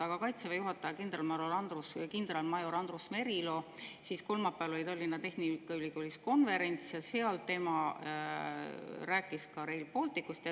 Aga Kaitseväe juhataja kindralmajor Andrus Merilo kolmapäeval Tallinna Tehnikaülikoolis konverentsil rääkis ka Rail Balticust.